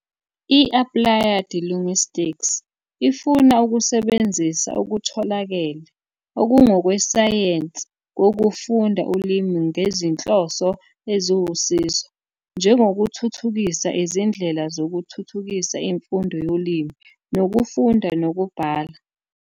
I-Applied Linguistics ifuna ukusebenzisa okutholakele okungokwesayensi kokufunda ulimi ngezinhloso eziwusizo, njengokuthuthukisa izindlela zokuthuthukisa imfundo yolimi nokufunda nokubhala.